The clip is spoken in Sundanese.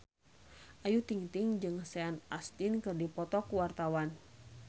Ayu Ting-ting jeung Sean Astin keur dipoto ku wartawan